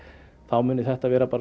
mun þetta vera